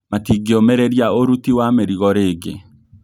Matingĩũmĩrĩria ũruti wa mĩrigo rĩngĩ